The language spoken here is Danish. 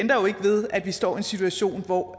jo ikke ved at vi står i en situation hvor